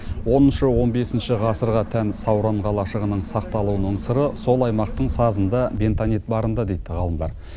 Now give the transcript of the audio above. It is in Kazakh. оныншы он бесінші ғасырға тән сауран қалашығының сақталуының сыры сол аймақтың сазында бентанит барында дейді ғалымдар